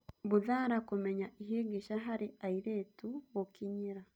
Mbuthara Kũmenya Ihĩngĩca harĩ Airĩtu' Gũkinyĩra